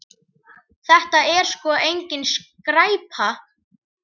Þetta er sko engin skræpa.